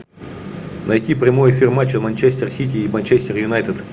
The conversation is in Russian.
найти прямой эфир матча манчестер сити и манчестер юнайтед